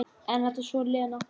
En sagði svo þetta, Lena.